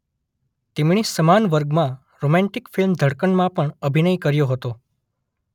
તેમણે સમાન વર્ગમાં રોમેન્ટિક ફિલ્મ ધડકનમાં પણ અભિનય કર્યો હતો